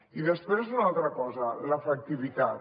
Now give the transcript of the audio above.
i després una altra cosa l’efectivitat